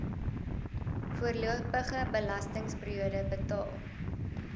voorlopige belastingperiode betaal